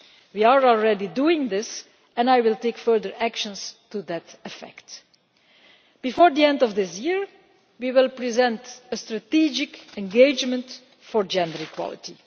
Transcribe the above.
We are already doing this, and I will take further action to that effect. Before the end of this year, we will present a strategic engagement on gender equality.